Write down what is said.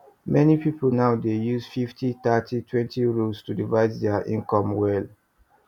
many pipu now dey use fifty thirty twenty rule to divide their income well